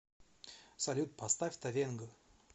салют поставь тавенго